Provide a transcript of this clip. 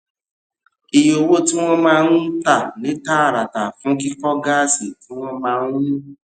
iye owó tí wọn máa ń tà ní tààràtà fún kíkó gásì tí wọn máa ń